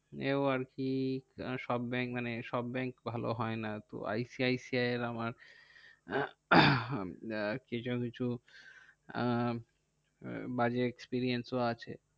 এও আরকি সব ব্যাঙ্ক মানে সব ব্যাঙ্ক ভালো হয় না। তো I C I C I এর আমার কিছু কিছু বাজে আহ experience ও আছে